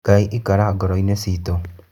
Ngai ikara ngoroinĩ citũ.